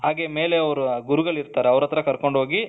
ಹಾಗೆ ಮೇಲೆ ಅವರ ಗುರುಗಳು ಇರ್ತಾರೆ ಅವರತ್ರ ಕರ್ಕೊಂಡ್ ಹೋಗಿ